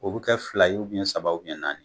O bɛ kɛ fila ye saba naani